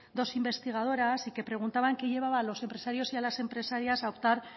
dos investigadoras y que preguntaban qué llevaba a los empresarios y a las empresarias a optar